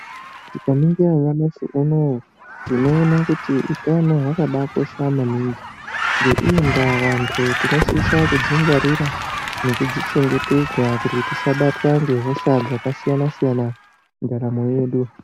Tikaringira nyamashi unoo tinoona kuti utano hwakabaakosha maningi. Ngeiyi ndaa vantu tinosisa kudzingwarira nekudzichengetedza kuti tisabatwa ngehosha dzakasiyana-siyana mundaramo yedu.